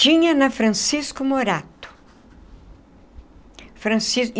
Tinha na Francisco Morato Francisco.